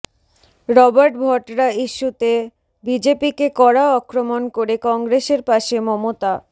Robert Vadra ইস্যুতে বিজেপিকে কড়া আক্রমণ করে কংগ্রেসের পাশে মমতা